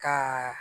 Ka